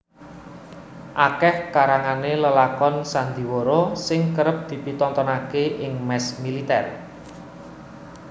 Akeh karangane lelakonan sandiwara sing kerep dipitontonake ing mes militer